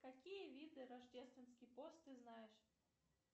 какие виды рождественский пост ты знаешь